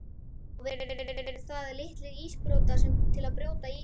Á veturna eru það litlir ísbrjótar, til að brjóta ísinn.